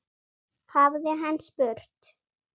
hafði hann spurt.